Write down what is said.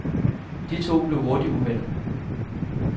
De to blev hurtigt uvenner.